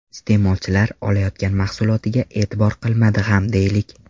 Iste’molchilar olayotgan mahsulotiga e’tibor qilmadi ham deylik.